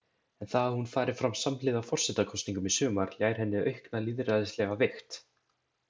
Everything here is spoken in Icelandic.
En það að hún fari fram samhliða forsetakosningum í sumar ljær henni aukna lýðræðislega vigt.